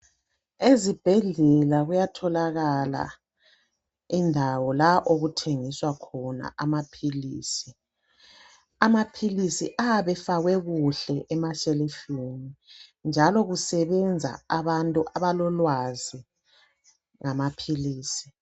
Ezibhedlela kuyatholakala indawo la okuthengiswa khona amaphilisi. Amaphilisi ayabe efakwe kuhle emashelufini njalo kusebenza abantu abalolwazi ngamaphilisi.